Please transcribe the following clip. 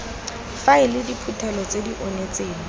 faele diphuthelo tse di onetseng